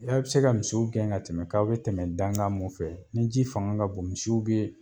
bi se ka misiw gɛn ka tɛmɛ k'aw be tɛmɛ dankan mun fɛ ni ji fanga ka bon misiw be